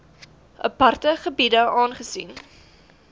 aparte gebiede aangesien